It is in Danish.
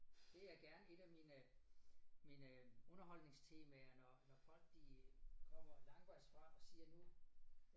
Det er gerne et af mine mine underholdningstemaer når når folk de kommer langvejs fra og siger nu